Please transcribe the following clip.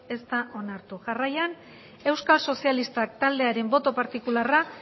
ez da onartu jarraian euskal sozialistak taldearen boto partikularra